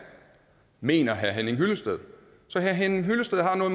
mener herre henning hyllested så herre henning hyllested har noget